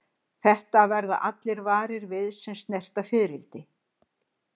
Þetta verða allir varir við sem snerta fiðrildi.